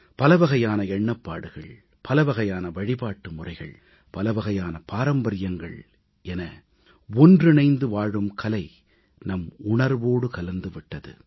பலவகையான எண்ணப்பாடுகள் பலவகையான வழிபாட்டு முறைகள் பலவகையான பாரம்பரியங்கள் என ஒன்றிணைந்து வாழும் கலை நம் உணர்வோடு கலந்து விட்டது